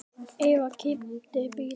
Eða keypti bíl.